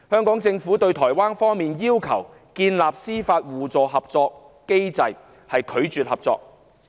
對於台灣方面要求建立司法互助合作機制，香港政府拒絕合作。